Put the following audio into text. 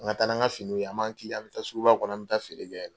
An ka taa n'an ka finiw ye. A b'an kilen, an bɛ taa suguba kɔnɔ, an bɛ taa feere kɛ.